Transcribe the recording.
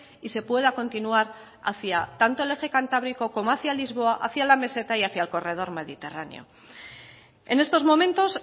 y se pueda continuar hacía tanto el eje cantábrico como hacia lisboa hacia la meseta y hacia el corredor mediterráneo en estos momentos